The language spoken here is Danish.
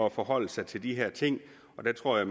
at forholde sig til de her ting og der tror jeg